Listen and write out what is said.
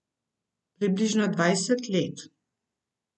Približno dvajset let.